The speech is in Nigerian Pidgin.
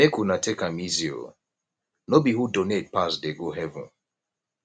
make una take am easy oo no be who donate pass dey go heaven